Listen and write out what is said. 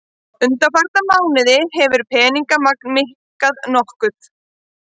Undanfarna mánuði hefur peningamagn minnkað nokkuð